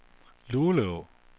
Luleå